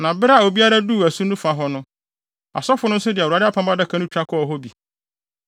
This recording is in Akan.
Na bere a obiara duu asu no fa hɔ no, asɔfo no nso de Awurade adaka no twa kɔɔ hɔ bi.